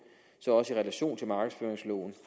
så også i relation til markedsføringsloven